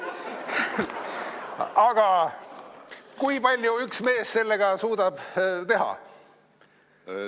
Aga kui palju üks mees sellega suudab teha?